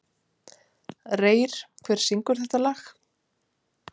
Reyr, hver syngur þetta lag?